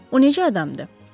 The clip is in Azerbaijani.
O necə adamdı?